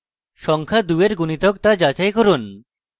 সংখ্যা 2 এর গুনিতক তা যাচাই করুন